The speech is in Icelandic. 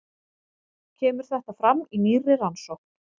Kemur þetta fram í nýrri rannsókn